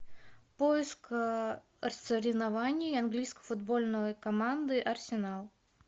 поиск соревнований английской футбольной команды арсенал